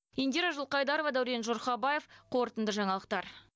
индира жылқайдарова дәурен жұрхабаев қорытынды жаңалықтар